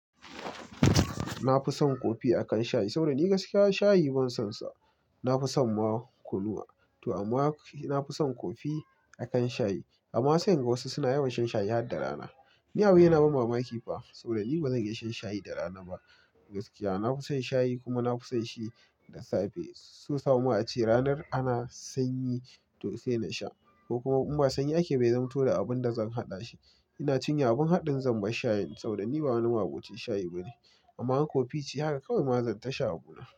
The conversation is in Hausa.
Na fi son kofi akan shayi, saboda ni gaskiya shayi ban sonsa. Na fi son ma kunuwa. To amma na fi son kofi akan shayi. Amma sai in ga wasu suna yawan shan shayi har da rana. Ni abin na ba mamaki fa, saboda ni ba zan iya shan shayi da rana ba. Gaskiya na fi son shayi kuma na fi son shi da safe. So samo a ce ranar ana sanyi to sai na sha, ko kuma in ba sanyi ake bai zamu to da abun da zan haɗa shi. Ina tunya abun haɗin zan bar shayin saboda ni ba wani ma'abocin shayi bane. Amma kofi ce haka kawai ma zan tashi a gobe.